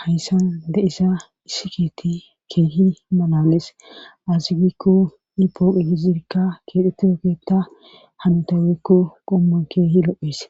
hayssan de isa hissikeeti keehi manales azigikko ipooqhe hizirikka keexhetti ookeeta hanutaweekko qomman keehi lo7hes